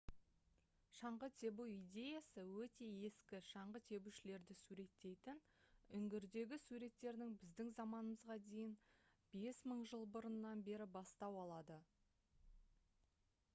шаңғы тебу идеясы өте ескі шаңғы тебушілерді суреттейтін үңгірдегі суреттердің біздің заманымызға дейін 5000 жыл бұрыннан бері бастау алады